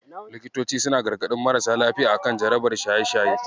Likitoci suna gargaɗin marasa lafiya a kan jarabar shaye-shaye.